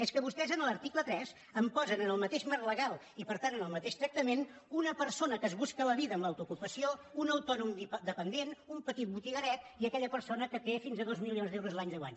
és que vostès en l’article tres em posen en el mateix marc legal i per tant en el mateix tractament una persona que es busca la vida amb l’autoocupació un autònom dependent un petit botigueret i aquella persona que té fins a dos milions d’euros l’any de guany